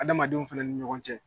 Adamadenw fɛnɛ ni ɲɔgɔn cɛ.